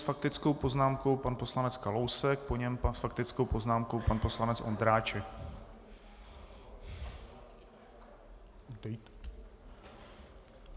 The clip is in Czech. S faktickou poznámkou pan poslanec Kalousek, po něm s faktickou poznámkou pan poslanec Ondráček.